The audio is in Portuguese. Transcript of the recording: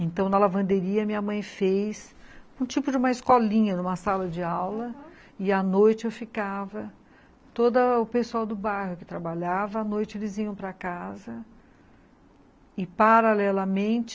Então, na lavanderia, minha mãe fez um tipo de uma escolinha, uma sala de aula, aham, e à noite eu ficava, todo o pessoal do bairro que trabalhava, à noite eles iam para casa, e paralelamente,